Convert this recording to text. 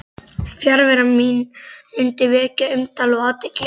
Fjarvera mín mundi vekja umtal og athygli.